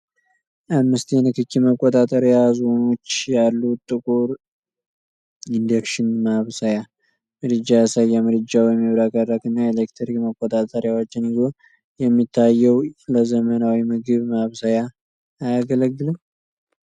አምስት የንክኪ መቆጣጠሪያ ዞኖች ያሉት ጥቁር ኢንደክሽን ማብሰያ ምድጃ ያሳያል፤ ምድጃው የሚያብረቀርቅ እና የኤሌክትሪክ መቆጣጠሪያዎችን ይዞ የሚታየው ለዘመናዊ ምግብ ማብሰያ አያገለግልም?